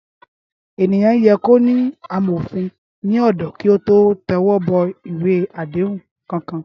Éniyán yè kó ni àmófin ni òdò ki ótó tèwòbòwé àdéhún kànkán